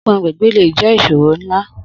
Ogun agbègbè le jẹ́ ìṣòro ńlá